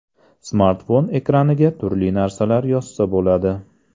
Smartfon ekraniga turli narsalar yozsa bo‘ladi.